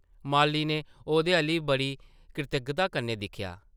माली नै ओह्दे अʼल्ल बड़ी कृतज्ञता कन्नै दिक्खेआ ।